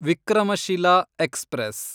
Vikramshila express